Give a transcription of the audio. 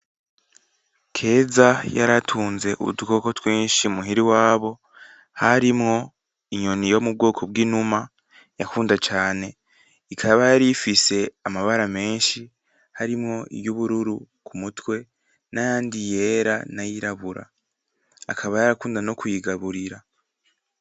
Keza yaratunze udukoko twinshi muhira iwabo harimwo inyoni yo mu bwoko bw’inuma yakunda cane ikaba yarifise amabara menshi harimwo iy’ubururu ku mutwe nayandi yera n’ayirabura, akaba yarakunda nokuyigaburira.